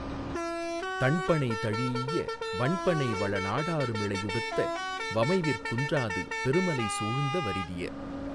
தண்பணை தழீஈய வண்பணை வளநாடருமிளையுடுத்த வமைவிற் குன்றாது பெருமலை சூழ்ந்த வரிதிய